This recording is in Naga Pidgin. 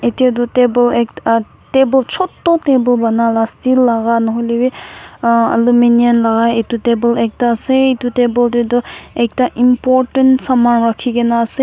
Etya tuh table ekt uhh table chotu table banala steel laga nohoilevi uhh aluminium laga etu table ekta ase etu table dae tuh ekta important saman rakhikena ase.